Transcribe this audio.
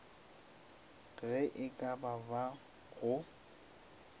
ge e ka ba go